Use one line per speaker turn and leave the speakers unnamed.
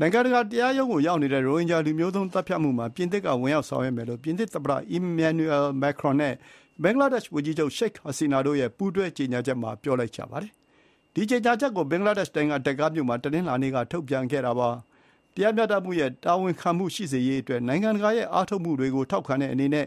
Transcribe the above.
နိုင်ငံတကာတရားရုံးကိုရောက်နေတဲ့ ရိုဟင်ဂျာလူမျိုးသုဥ်းသတ်ဖြတ်မှုမှာ ပြင်သစ် က ဝင်ရောက်ဆောင်ရွက်မယ်လို့ ပြင်သစ်သမ္မတ အီမင်န်နျူရယ် မက်ခရွန်နဲ့ ဘင်္ဂလားဒေ့ရှ်ဝန်ကြီးချုပ် ရှိတ် ဟာစီနာတို့ရဲ့ ပူးတွဲကြေညာချက်မှာ ပြောလိုက်ပါတယ်။ ဒီ ကြေညာချက်ကို ဘင်္ဂလားဒေ့ရှ်နိုင်ငံ ဒက္ကာမြို့မှာ တနင်္လာနေ့က ထုတ်ပြန်ခဲ့တာပါ။ တရားမျှတမှုနဲ့ တာဝန်ခံမှုရှိစေရေးအတွက် နိုင်ငံတကာရဲ့ အားထုတ်မှုတွေကို ထောက်ခံတဲ့အနေနဲ့